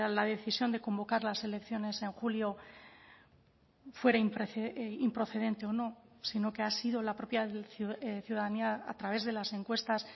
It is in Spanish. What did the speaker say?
la decisión de convocar las elecciones en julio fuera improcedente o no sino que ha sido la propia ciudadanía a través de las encuestas